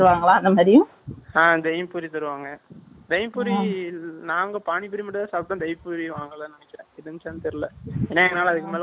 ஆங், Bel puri தருவாங்க, நாங்க பானி பூரி மட்டும்தான் சாப்பிட்டோம். வாங்கலைன்னு நினைக்கிறேன். இருந்துச்சான்னு தெரியலை. ஏன்னா, எங்களால அதுக்கு மேல முடியலை.